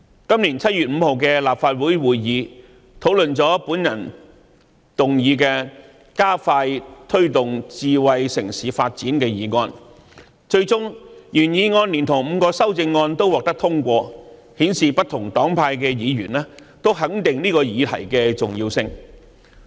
今年7月5日的立法會會議討論了由我動議的"加快推動智慧城市發展"議案，最終原議案連同5項修正案均獲得通過，顯示不同黨派議員均肯定這項議題的重要性。